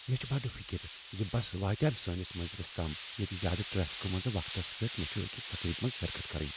مےٚ چھےٚ بٕڈ فکر زِ بس واتیا سٲنس منزِلس تام ییتہِ زیادٕ ٹریفِكہٕ منٕنزِ وقتس پٮ۪ٹھ مےٚ چھ أکس تقریٖبس منٛز شرکت کرٕنۍ ۔